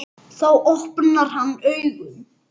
Þá opnar hann augun.